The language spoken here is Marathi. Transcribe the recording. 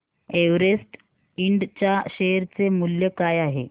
एव्हरेस्ट इंड च्या शेअर चे मूल्य काय आहे